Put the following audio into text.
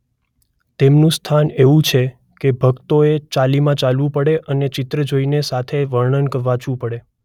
તેમનું સ્થાન એવું છે કે ભક્તોએ ચાલીમાં ચાલવું પડે અને ચિત્ર જોઈને સાથે વર્ણન વાંચવુ પડે.